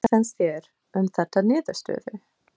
Hvað finnst þér um þessa niðurstöðu?